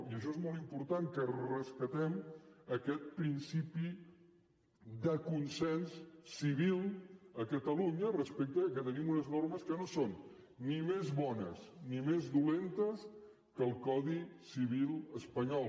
i això és molt important que rescatem aquest principi de consens civil a catalunya respecte que tenim unes normes que no són ni més bones ni més dolentes que el codi civil espanyol